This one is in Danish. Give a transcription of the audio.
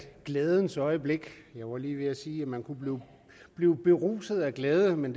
glædens øjeblik jeg var lige ved at sige at man kunne blive beruset af glæde men